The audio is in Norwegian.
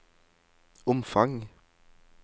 omfang